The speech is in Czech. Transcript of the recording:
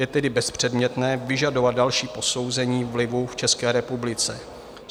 Je tedy bezpředmětné vyžadovat další posouzení vlivu v České republice.